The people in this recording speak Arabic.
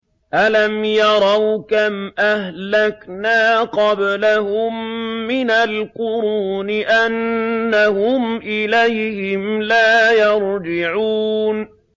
أَلَمْ يَرَوْا كَمْ أَهْلَكْنَا قَبْلَهُم مِّنَ الْقُرُونِ أَنَّهُمْ إِلَيْهِمْ لَا يَرْجِعُونَ